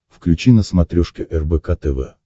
включи на смотрешке рбк тв